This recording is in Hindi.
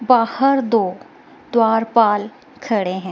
बाहर दो द्वारपाल खड़े है।